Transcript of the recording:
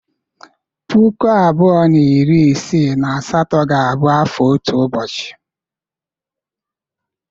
Puku abụọ na iri isii na asatọ ga-abụ afọ otu ụbọchị.